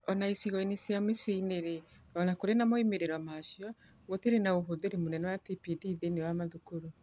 O na icigo-inĩ cia mĩciĩ-inĩ-rĩ, o na kũrĩ na moimĩrĩro macio, gũtiarĩ na ũhũthĩri mũnene wa TPD thĩinĩ wa mathukuru.